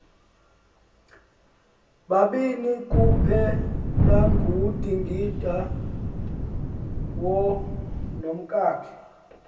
babini kuphelangudingindawo nomkakhe